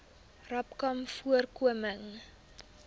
rapcanvoorkoming